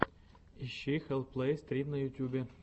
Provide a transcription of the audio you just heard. ищи хэлл плэй стрим на ютубе